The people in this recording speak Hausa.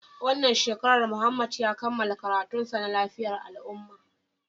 Wannan shekarar Muhammad ya kammala karatunsa na lafiyar al'ummah